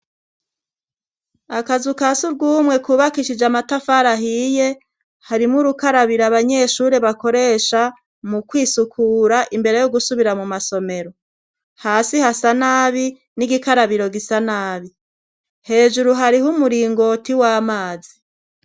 Akazu ka surwumwe kubakishij' amatafara ahiye hari mw'urukarabiro abanyeshuri bakoresha mu kwisukura imbere yo gusubira mu masomero, hasi hasa nabi n'igikarabiro gisa nabi ,hejuru harihu umuringoti w'amazi.